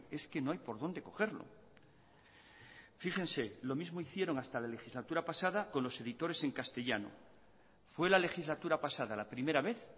es que no hay por dónde cogerlo fíjense lo mismo hicieron hasta la legislatura pasada con los editores en castellano fue la legislatura pasada la primera vez